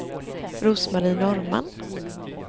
Rose-Marie Norrman